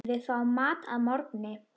Við fáum mat að morgni.